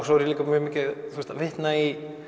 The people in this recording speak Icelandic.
svo er ég líka að vitna í